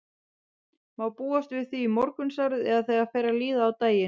Má búast við því þá í morgunsárið eða þegar fer að líða á daginn?